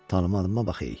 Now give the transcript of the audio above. Tanımadıma bax e.